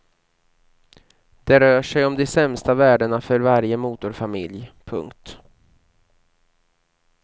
Det rör sig om de sämsta värdena för varje motorfamilj. punkt